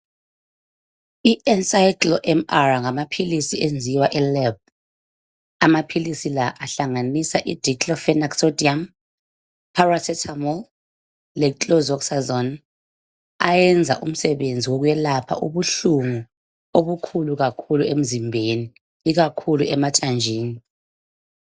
I-Encyclo MR, ngamaphilisi enziwa eLab. Amaphilisi lawa ahlanganisa iiDeclofenac Sodium, Paracetmol, leChlorzoxazone. Ayenza umsebenzi wokwelapha, ubuhlungu obukhulu kakhulu emzimbeni. Ikakhulu emathanjeni.